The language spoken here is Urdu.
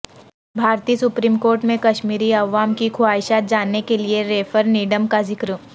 بھارتی سپریم کورٹ میں کشمیری عوام کی خواہشات جاننے کیلئے ریفرنڈم کا ذکر